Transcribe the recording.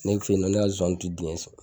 Ne fe yen nɔ ne ka zonzani ti dingɛ sen